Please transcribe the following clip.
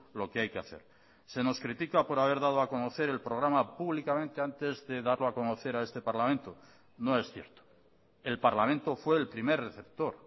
lo que hay que hacer se nos critica por haber dado a conocer el programa públicamente antes de darlo a conocer a este parlamento no es cierto el parlamento fue el primer receptor